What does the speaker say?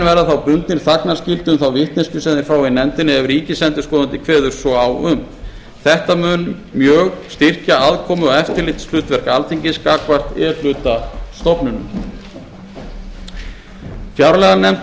þá bundnir þagnarskyldu um þá vitneskju sem þeir fá í nefndinni ef ríkisendurskoðandi kveður svo á um þetta mun styrkja mjög aðkomu og eftirlitshlutverk alþingis gagnvart e hluta stofnunum fjárlaganefnd